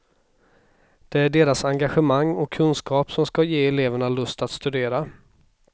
Det är deras engagemang och kunskap som ska ge eleverna lust att studera.